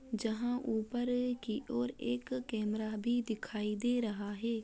जहाँ ऊपर की और एक कैमरा भी दिखाई दे रहा है।